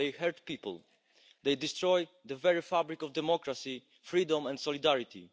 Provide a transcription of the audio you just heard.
They hurt people and they destroy the very fabric of democracy, freedom and solidarity.